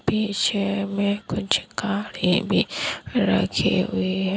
पीछे में कुछ गाड़ी भी रखी हुई है।